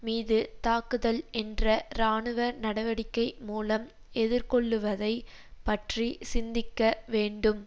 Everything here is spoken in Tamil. மீது தாக்குதல் என்ற இராணுவ நடவடிக்கை மூலம் எதிர்கொள்ளுவதை பற்றி சிந்திக்க வேண்டும்